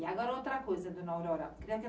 E agora outra coisa, dona Aurora.